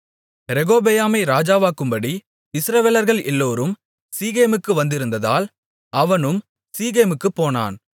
ரெகொபெயாமை ராஜாவாக்கும்படி இஸ்ரவேலர்கள் எல்லோரும் சீகேமுக்கு வந்திருந்ததால் அவனும் சீகேமுக்குப் போனான்